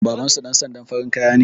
Babansu ɗan sandan farin kaya ne